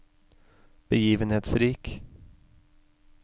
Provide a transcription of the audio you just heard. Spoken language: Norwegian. begivenhetsrik